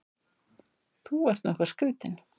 Þú ert nú eitthvað skrýtinn!